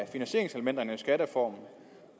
finansieringselementerne i skattereformen